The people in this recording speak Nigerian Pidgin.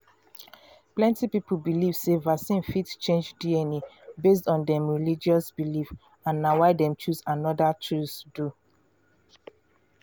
plenty people believe sey vaccine fit change dna based on dem religious beliefs and na why dem choose another choose du